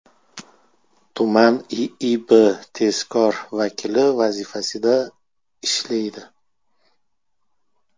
tuman IIB tezkor vakili vazifasida ishlaydi.